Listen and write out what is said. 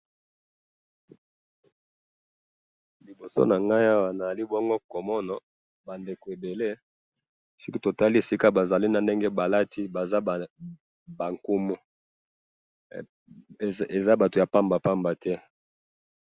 liboso na ngayi awa nazo komona batu komono ebele soki totali esika bazali na ndenge balati baza batu ya nkumu bazali batu ya pamba te.